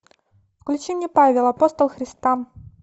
включи мне павел апостол христа